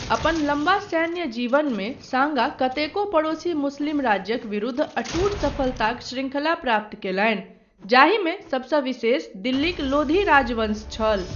अपन लम्बा सैन्य जीवनमे सांगा कतेको पड़ोसी मुस्लिम राज्यक विरुद्ध अटूट सफलताक शृंखला प्राप्त कयलनि, जाहिमे सबसँ विशेष दिल्लीक लोधी राजवंश छल।